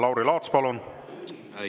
Lauri Laats, palun!